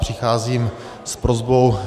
Přicházím s prosbou.